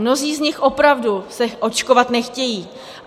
Mnozí z nich opravdu se očkovat nechtějí.